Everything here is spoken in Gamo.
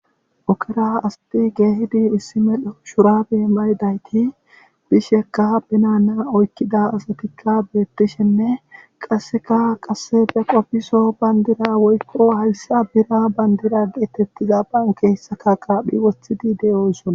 Ogera asati keehid issi medho shurabe mayidayti betishe detes.